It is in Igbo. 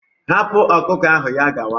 Hapụ ọkụkọ ahụ ya gawa!